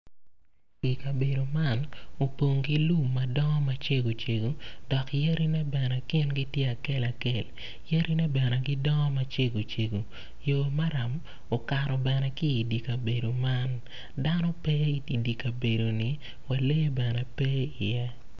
I kabedo man opong ki lum ma dongo macego cego dok yadine bene gingi tye akel akel yadine bene gidongo macego cego yo maram okato bene ki idye kabedo man dano pe idye kabedoni wa lee bene pe iye.